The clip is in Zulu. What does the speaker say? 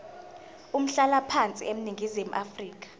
umhlalaphansi eningizimu afrika